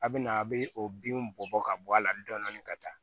A bɛ na a bɛ o binw bɔ ka bɔ a la dɔɔni dɔɔni ka taa